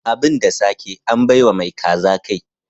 Abin da sake, an bai wa mai kaza kai.